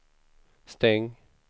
stäng